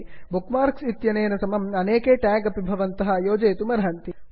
book marks इत्यनेन समम् अनेके ट्याग् अपि भवन्तः योजयितुमर्हन्ति